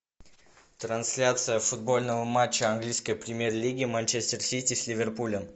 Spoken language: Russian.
трансляция футбольного матча английской премьер лиги манчестер сити с ливерпулем